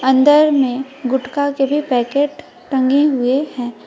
अंदर में गुटखा के भी पैकेट टंगे हुए हैं।